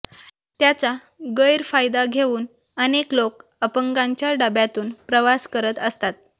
त्याचा गरफायदा घेऊन अनेक लोक अपंगांच्या डब्यातून प्रवास करत असतात